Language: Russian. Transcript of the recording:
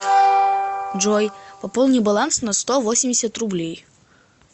джой пополни баланс на сто восемьдесят рублей